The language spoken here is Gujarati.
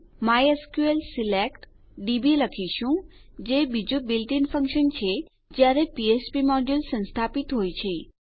માયસ્કલ સિલેક્ટ ડીબી લખીશું જે બીજું બિલ્ટ ઇન ફંક્શન છે જયારે ફ્ફ્પ મોડ્યુલ સંસ્થાપિત હોય છે